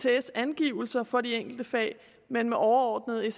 ects angivelser for de enkelte fag men med overordnede